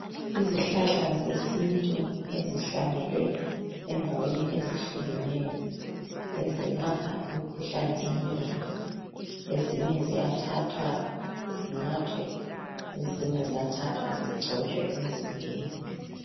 Izihlahla zesintu ezihlanyelwe endaweni ezehlukeneyo. Ezelapha imikhuhlane eminengi. Ezinye ziyathathwa zinathwe, ezinye ziyathathwa zigcotshwe emzimbeni